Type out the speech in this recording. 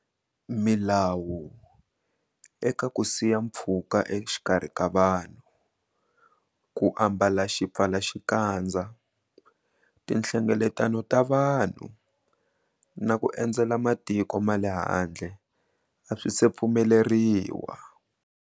Milawu eka ku siya pfhuka exikarhi ka vanhu, ku ambala xipfalaxikadza, tihlengeletano ta vanhu na ku endzela matiko ma le handle a swi se pfumeleriwa.